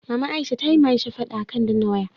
Maman aisha tayi wa aisha fada akan danna waya